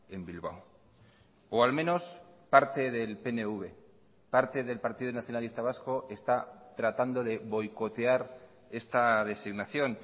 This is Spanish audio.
en bilbao o al menos parte del pnv parte del partido nacionalista vasco está tratando de boicotear esta designación